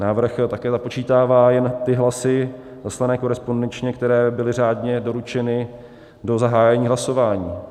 Návrh také započítává jen ty hlasy zaslané korespondenčně, které byly řádně doručeny do zahájení hlasování.